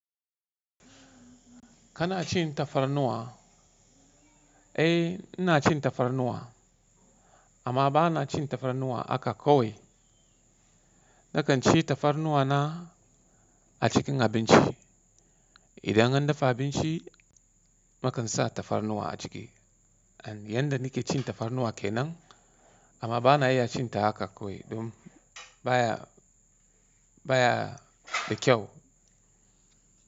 Kana cin tafarnuwa? Eh, ina cin tafarnuwa amma ba na cin tafarnuwa haka kawai. Na kan ci tafarnuwa na a cikin abinci. Idan an dafa abinci, na kan sa tafarnuwa a ciki. Yanda nike cin tafarnuwa kenan amma bana iya cin ta haka kawai. Dum baya, baya da kyau.